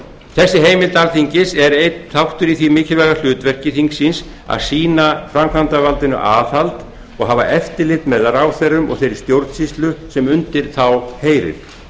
þessi heimild alþingis er einn þáttur í því mikilvæga hlutverki þingsins að sýna framkvæmdarvaldinu aðhald og hafa eftirlit með ráðherrum og þeirri stjórnsýslu sem undir þá heyrir